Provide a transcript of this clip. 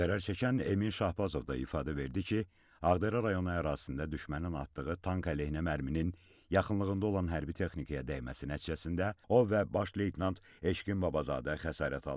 Zərər çəkən Emin Şahbazov da ifadə verdi ki, Ağdərə rayonu ərazisində düşmənin atdığı tank əleyhinə mərminin yaxınlığında olan hərbi texnikaya dəyməsi nəticəsində o və baş leytenant Eşqin Babazadə xəsarət alıb.